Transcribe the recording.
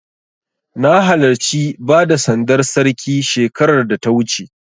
Na halarci bada sandar Sarki shekarar da ta wuce.